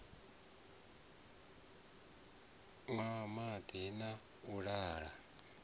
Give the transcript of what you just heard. nwa madi na u la